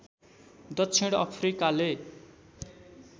दक्षिण अफ्रिकाले